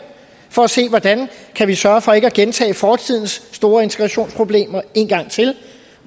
for at se hvordan vi kan sørge for ikke at gentage fortidens store integrationsproblemer